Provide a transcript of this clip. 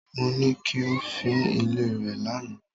Mo ní kí o fín ilé rẹ lánàá.